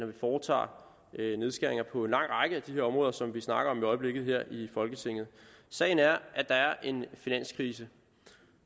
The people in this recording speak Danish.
vi foretager nedskæringer på en lang række af de områder som vi snakker om i øjeblikket her i folketinget sagen er at der er en finanskrise